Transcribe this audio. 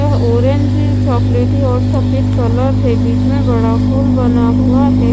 यह ऑरेंज चॉकलेटी और सफेद कलर है बीच में बड़ा फूल बना हुआ है।